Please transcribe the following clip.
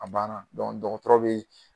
A banna dɔgɔtɔrɔ bɛ